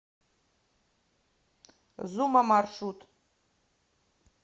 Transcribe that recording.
зума маршрут